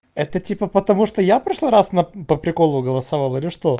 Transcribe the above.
это типа потому что я в прошлый раз по приколу голосовал или что